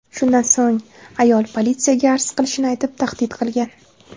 Shundan so‘ng ayol politsiyaga arz qilishini aytib tahdid qilgan.